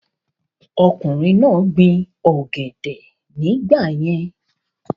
ọkùnrin náà gbin ọ̀gẹ̀dẹ̀ nígbà yẹn